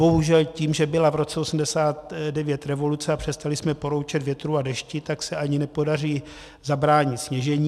Bohužel tím, že byla v roce 1989 revoluce a přestali jsme poroučet větru a dešti, tak se ani nepodaří zabránit sněžení.